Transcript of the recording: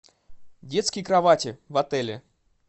детские кровати в отеле